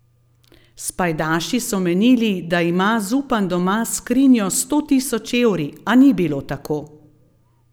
S pajdaši so menili, da ima Zupan doma skrinjo s sto tisoč evri, a ni bilo tako.